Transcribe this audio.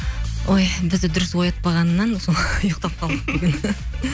ой бізді дұрыс оятпағаннан ұйықтап қалдық бүгін